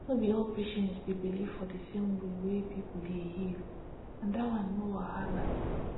no be all patients dey believe for di same way wey pipo dey heal and dat one no wahala